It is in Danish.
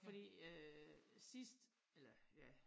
Fordi øh sidst eller ja